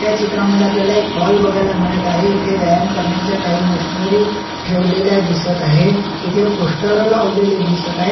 या चित्रामद्धे आपल्याला एक हॉल बघायला मिळत आहे इथे व्यायाम करण्याच्या काही मशीनरी ठेवलेल्या दिसत आहे इथे पोस्टर लावलेले दिसत आहे.